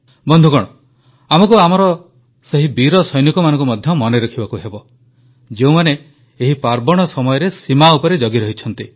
ବନ୍ଧୁଗଣ ଆମକୁ ଆମର ସେହି ବୀର ସୈନିକମାନଙ୍କୁ ମଧ୍ୟ ମନେରଖିବାକୁ ହେବ ଯେଉଁମାନେ ଏହି ପାର୍ବଣ ସମୟରେ ସୀମା ଉପରେ ଜଗି ରହିଛନ୍ତି